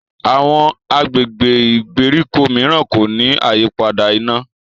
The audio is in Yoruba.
Àwọn agbègbè ìgbèríko míràn kò ní àyípadà iná.